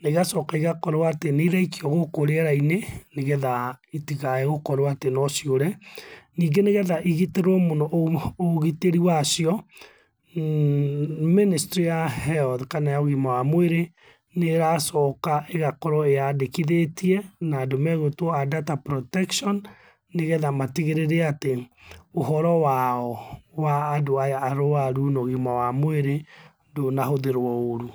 na igacoka igakorwo atĩ nĩiraikio gũkũ rĩera-inĩ, nĩgetha itikae gũkorwo atĩ nociũre. Ningĩ nĩgetha igitĩrwo mũno ũgitĩri wacio, Ministry ya health kana ya ũgima wa mwĩrĩ nĩracoka ĩgakorwo ĩyandĩkithĩtie na andũ megũitwo a data protection, nĩgetha matigĩrĩre atĩ ũhoro wao, wa andũ aya arwaru, no ũgima wa mwĩrĩ ndũnahũthĩrwo ũrũ.